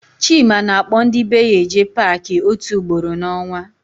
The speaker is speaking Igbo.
Chima na-akpọ ndị be ya eje Paakị ótù ugboro n'ọnwa.